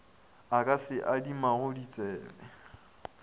a ka se adimago ditsebe